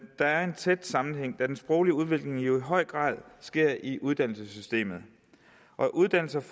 er en tæt sammenhæng da den sproglige udvikling jo i høj grad sker i uddannelsessystemet og uddannelse og